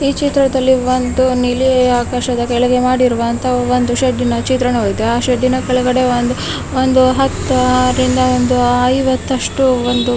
ಈ ಚಿತ್ರದಲ್ಲಿ ನೀಲಿ ಆಕಾಶದ ಕೆಳಗೆ ಮಾಡಿರುವ ಒಂದು ಸೆಡ್ ಚಿತ್ರಣ ಇದೆ ಆ ಸೆಡ್ ಕೆ ಳಗಡೆಒಂದ್ ಐವತ್ತು ರಿಂದ ಅರ ಹೊತ್ತು--